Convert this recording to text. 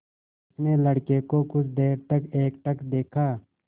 उसने लड़के को कुछ देर तक एकटक देखा